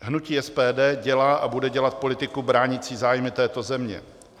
Hnutí SPD dělá a bude dělat politiku bránící zájmy této země.